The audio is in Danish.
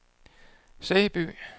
Sæby